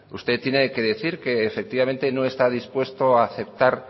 usted tiene que decir que efectivamente no está dispuesta a aceptar